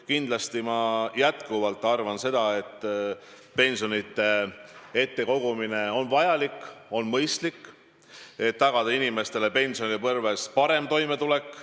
Kindlasti ma jätkuvalt arvan seda, et pensionite kogumine on vajalik, on mõistlik, et tagada inimestele pensionipõlves parem toimetulek.